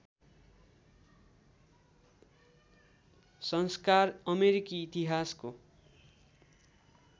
संस्कार अमेरिकी इतिहासको